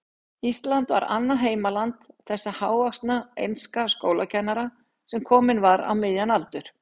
Ísland var annað heimaland þessa hávaxna enska skólakennara, sem kominn var á miðjan aldur.